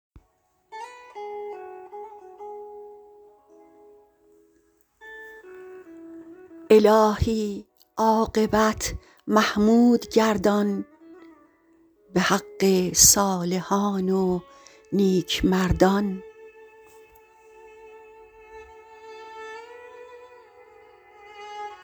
الهی عاقبت محمود گردان به حق صالحان و نیکمردان